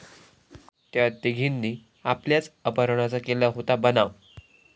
त्या' तिघींनी आपल्याच अपहरणाचा केला होता बनाव